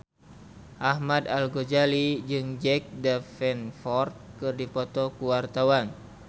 Ahmad Al-Ghazali jeung Jack Davenport keur dipoto ku wartawan